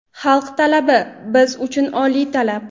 Xalq talabi – biz uchun oliy talab.